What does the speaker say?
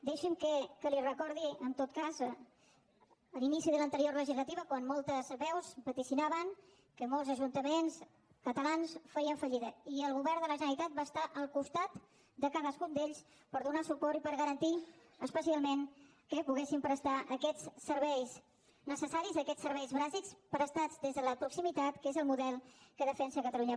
deixi’m que li recordi en tot cas l’inici de l’anterior legislatura quan moltes veus vaticinaven que molts ajuntaments catalans farien fallida i el govern de la generalitat va estar al costat de cadascun d’ells per donar los suport i per garantir especialment que poguessin prestar aquests serveis necessaris aquests serveis bàsics prestats des de la proximitat que és el model que defensa catalunya